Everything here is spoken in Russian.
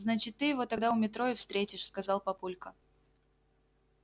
значит ты его тогда у метро и встретишь сказал папулька